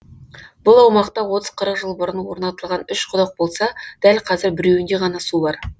бұл аумақта отыз қырық жыл бұрын орнатылған үш құдық болса дәл қазір біреуінде ғана су бар